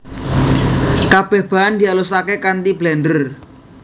Kabeh bahan dialusake kanthi blender